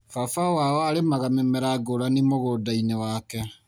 Baba wao arĩmaga mĩmera ngũrani mũgũndainĩ wake.